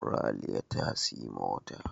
Raliya ta siyi mota